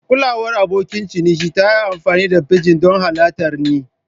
Kulawar abokin ciniki ta yi amfani da pidgin don halartar ni.